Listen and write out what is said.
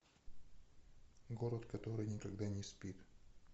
город который никогда не спит